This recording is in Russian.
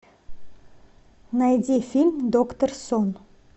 найди фильм доктор сон